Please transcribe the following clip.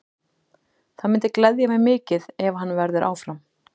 Það myndi gleðja mig mikið ef hann verður áfram.